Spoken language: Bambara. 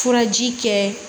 Furaji kɛ